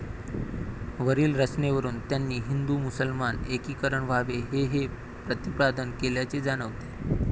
वरील रचनेवरून त्यांनी हिंदू मुसलमान एकीकरण व्हावे हे हे प्रतिपादन केल्याचे जाणवते